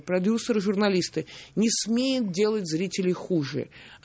продюсер журналисты не смеет делать зрителю хуже